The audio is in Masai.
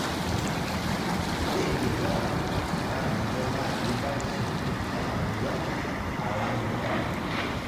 Ore nkituak naa ninje naati batisho ena moyian alang' ilewa.